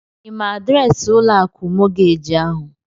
Ị ma adịreesị ụlọ akụ mọọgeeji ahụ?